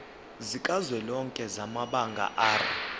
sikazwelonke samabanga r